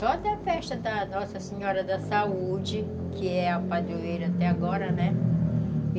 Só da festa da Nossa Senhora da Saúde, que é a padroeira até agora, né?